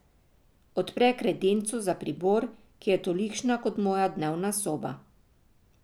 Odpre kredenco za pribor, ki je tolikšna kot moja dnevna soba.